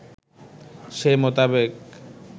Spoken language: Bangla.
সে মোতাবেক